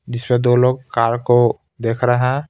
जिसमें दो लोग कार को देख रहे हैं.